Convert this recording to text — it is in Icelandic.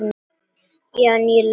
Já, ég er lofuð.